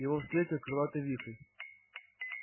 его встретил крылатый вихрь